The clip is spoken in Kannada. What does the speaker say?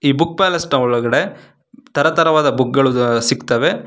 ಈ ಬುಕ್ ಪ್ಯಾಲೆಸ್ ನ ಒಳಗಡೆ ತರ ತರವಾದ ಬುಕ್ಕುಗಳು ಸಿಗ್ತಾವೆ.